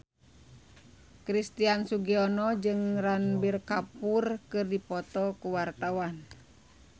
Christian Sugiono jeung Ranbir Kapoor keur dipoto ku wartawan